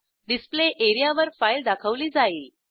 display एरियावर file दाखवली जाईल